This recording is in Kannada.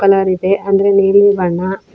ಕಲರ್ ಇದೆ ಅಂದ್ರೆ ನೀಲಿ ಬಣ್ಣ--